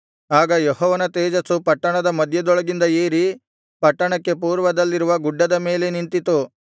ಆಗ ಯೆಹೋವನ ತೇಜಸ್ಸು ಪಟ್ಟಣದ ಮಧ್ಯದೊಳಗಿಂದ ಏರಿ ಪಟ್ಟಣಕ್ಕೆ ಪೂರ್ವದಲ್ಲಿರುವ ಗುಡ್ಡದ ಮೇಲೆ ನಿಂತಿತು